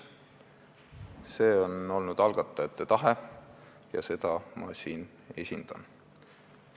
See on olnud algatajate tahe, mida ma siin esindan.